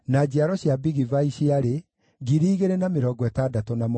na andũ a Kiriathu-Jearimu, na Kefira, na Beerothu maarĩ 743